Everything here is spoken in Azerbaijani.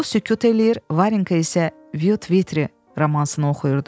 O sükut eləyir, Varinka isə Vtri romansı oxuyurdu.